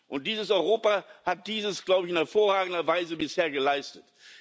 Und dieses Europa hat dies, glaube ich, in hervorragender Weise bisher geleistet.